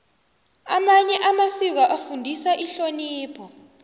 amanye amasiko afundisa ihlonipho